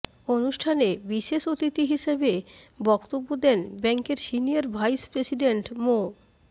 অনুষ্ঠানে বিশেষ অতিথি হিসেবে বক্তব্য দেন ব্যাংকের সিনিয়র ভাইস প্রেসিডেন্ট মো